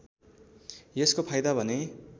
यसको फाइदा भने